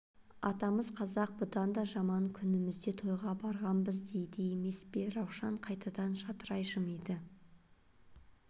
атамыз қазақ бұдан да жаман күнімізде тойға барғанбыз дейді емес пе раушан қайтадан жадырай жымиды